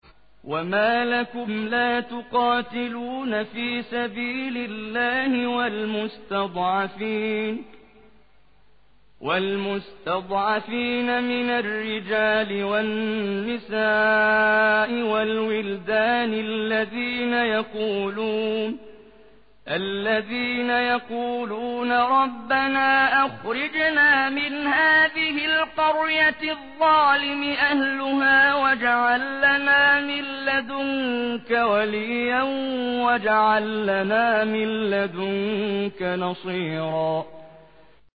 وَمَا لَكُمْ لَا تُقَاتِلُونَ فِي سَبِيلِ اللَّهِ وَالْمُسْتَضْعَفِينَ مِنَ الرِّجَالِ وَالنِّسَاءِ وَالْوِلْدَانِ الَّذِينَ يَقُولُونَ رَبَّنَا أَخْرِجْنَا مِنْ هَٰذِهِ الْقَرْيَةِ الظَّالِمِ أَهْلُهَا وَاجْعَل لَّنَا مِن لَّدُنكَ وَلِيًّا وَاجْعَل لَّنَا مِن لَّدُنكَ نَصِيرًا